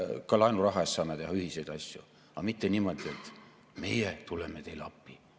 Ka laenuraha eest saame teha ühiseid asju, aga mitte niimoodi, et meie tuleme teile appi.